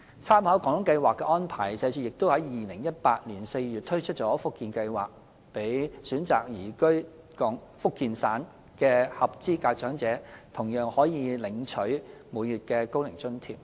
參考"廣東計劃"的安排，社署在2018年4月推出了"福建計劃"，讓選擇移居福建省的合資格長者同樣可每月領取高齡津貼。